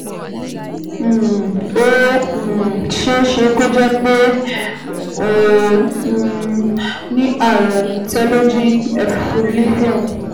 um Ó um ṣeé ṣe kó jẹ́ pé o um ní ààrùn telogen effluvium